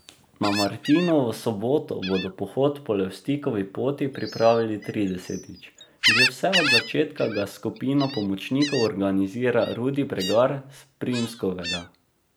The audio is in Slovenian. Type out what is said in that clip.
Na Martinovo soboto bodo pohod po Levstikovi poti pripravili tridesetič, že vse od začetka ga s skupino pomočnikov organizira Rudi Bregar s Primskovega.